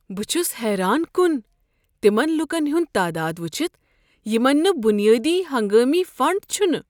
بہٕ چھُس حیران کن تمن لوٗکن ہُنٛد تعداد وٕچھتھ یمن نہ بنیادی ہنگامی فنڈ چھُنہٕ۔